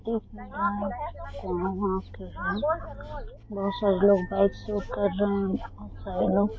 देख नहीं रहें हैं यहाँ बहुत सारे लोग बाइक से उतर रहें हैं बहुत सारे लोग --